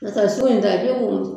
n'o tɛ so in a